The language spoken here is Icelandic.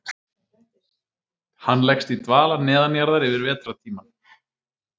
Hann leggst í dvala neðanjarðar yfir vetrartímann.